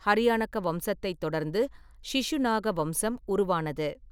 ஹரியானக வம்சத்தைத் தொடர்ந்து ஷிஷுநாக வம்சம் உருவானது.